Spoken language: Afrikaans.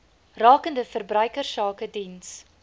rakende verbruikersake diens